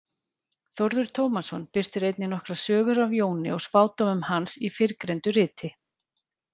Þórður Tómasson birtir einnig nokkrar sögur af Jóni og spádómum hans í fyrrgreindu riti.